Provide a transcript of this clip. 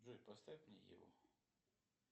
джой поставь мне еву